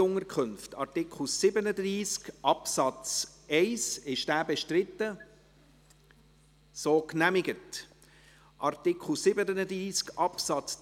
Es braucht kein Ausmehren, weil die Mehrheit den Eventualantrag nicht gewollt hat.